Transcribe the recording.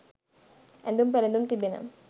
ඇඳුම් පැළඳුම් තිබෙන